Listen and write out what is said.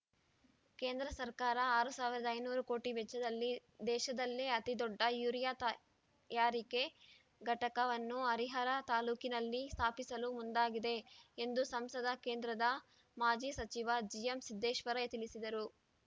ಕೇಂದ್ರ ಸರ್ಕಾರ ಆರ್ ಸಾವಿರದ ಐನೂರು ಕೋಟಿ ವೆಚ್ಚದಲ್ಲಿ ದೇಶದಲ್ಲೇ ಅತೀ ದೊಡ್ಡ ಯೂರಿಯಾ ತಯಾರಿಕಾ ಘಟಕವನ್ನು ಹರಿಹರ ತಾಲೂಕಿನಲ್ಲಿ ಸ್ಥಾಪಿಸಲು ಮುಂದಾಗಿದೆ ಎಂದು ಸಂಸದ ಕೇಂದ್ರದ ಮಾಜಿ ಸಚಿವ ಜಿಎಂಸಿದ್ದೇಶ್ವರ ತಿಳಿಸಿದರು